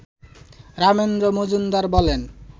রামেন্দ্র মজুমদার বলেন